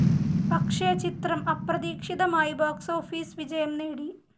പക്ഷെ ചിത്രം അപ്രതീക്ഷിതമായി ബോക്സ്‌ ഓഫിസ് വിജയം നേടി.